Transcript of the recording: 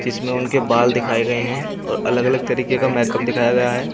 इसमें उनके बाल दिखाए गए हैं और अलग अलग तरीके का मेकअप दिखाया गया है।